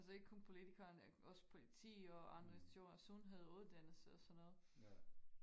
altså ikke kun poltikerne også politi og andre institutioner sundhed uddannelse og sådan noget